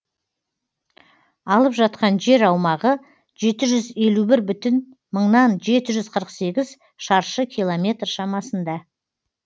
алып жатқан жер аумағы жеті жүз елу бір бүтін жеті жүз қырық сегіз шаршы километр шамасында